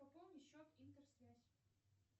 пополни счет интер связь